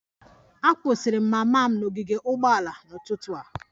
M dobara mama m n'ogige ụgbọala n'ụtụtụ a